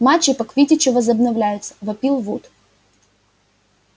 матчи по квиддичу возобновляются вопил вуд